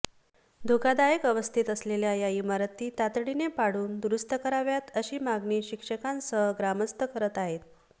धोकादायक अवस्थेत असलेल्या या इमारती तातडीने पाडून दुरुस्त कराव्यात अशी मागणी शिक्षकांसह ग्रामस्थ करत आहेत